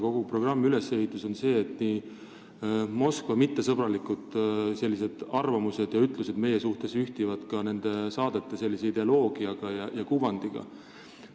Kogu programmi ülesehitus on selline, et Moskva mittesõbralikud arvamused ja ütlused meie kohta ühtivad ka nende saadete ideoloogia ja kuvandiga.